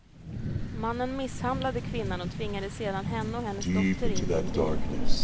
Mannen misshandlade kvinnan och tvingade sedan henne och hennes dotter in i en bil.